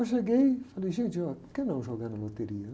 Eu cheguei e falei, gente, óh, por que não jogar na loteria?